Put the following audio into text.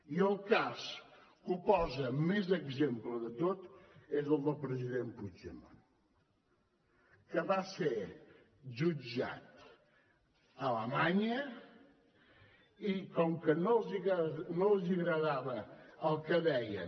i el cas que posa més exemple de tot és el del president puigdemont que va ser jutjat a alemanya i com que no els agradava el que deien